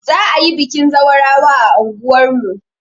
Za'a yi bikin zawarawa a anguwar mu.